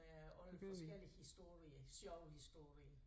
Med alle forskellige historier sjove historier